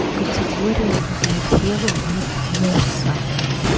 в категориях для тела нет муса